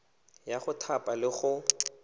ya go thapa le go